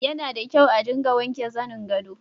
Yana da kyau a dinga wanke zanin gado.